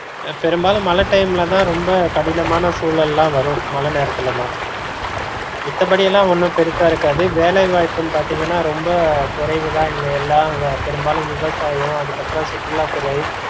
பெரும்பாலும் மழை time லதான் ரெம்ப கடினமான சூழல்லா வரும் மழை நேரத்துலதான் மித்தபடிலாம் ஒன்னும் பெருசா இருக்காது வேலை வாய்ப்புன்னு பாத்தீங்கன்னா ரொம்ப குறைவுதா இங்க எல்லா பெரும்பாலும் விவசாயம் அதுக்கப்பறம் சுற்றுலாத்துறை